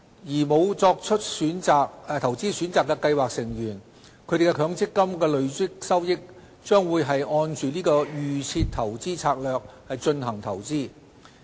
而沒有作出投資選擇的計劃成員的強積金累算收益，將會按"預設投資策略"進行投資。